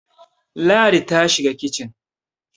Ladi ta shiga kicin.